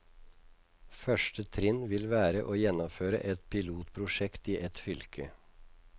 Første trinn vil være å gjennomføre et pilotprosjekt i ett fylke.